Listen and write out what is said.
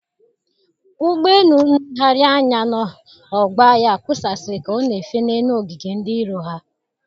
Ụgbọ élú nlegharị anya n'ọgbọ agha kusaasịrị ka ọ na-efe n'elu ogige ndị iro ha.